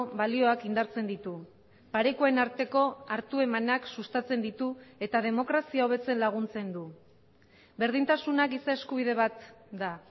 balioak indartzen ditu parekoen arteko hartu emanak sustatzen ditu eta demokrazia hobetzen laguntzen du berdintasuna giza eskubide bat da